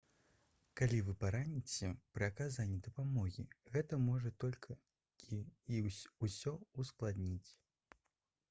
калі вы параніцеся пры аказанні дапамогі гэта можа толькі ўсё ўскладніць